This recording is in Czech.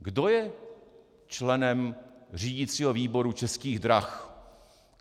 Kdo je členem řídicího výboru Českých drah?